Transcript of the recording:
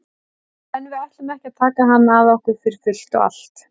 En við ætlum ekki að taka hann að okkur fyrir fullt og allt.